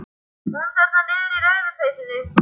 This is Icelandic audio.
Hún þarna niðri í rauðu peysunni.